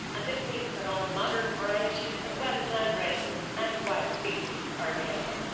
This means that all modern varieties, as well as landraces and wild species are available.